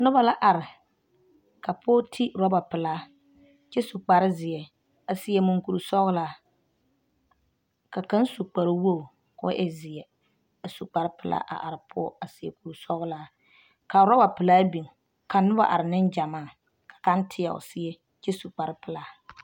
Noba la are ka pɔge ti roba pelaa kyɛ su kpare zeɛ a seɛ munkuri sɔgelaa ka kaŋ su kpare wogi k'o e zeɛ a su kpare pelaa a are poɔ a seɛ kuri sɔgelaa ka roba pelaa biŋ ka noba are, neŋgyɛmaa ka kaŋ teɛ o seɛ kyɛ su kpare pelaa.